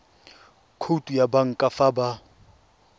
khoutu ya banka fa ba